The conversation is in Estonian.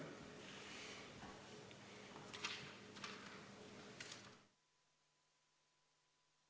Istungi lõpp kell 15.49.